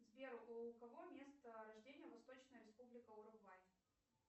сбер у кого место рождения восточная республика уругвай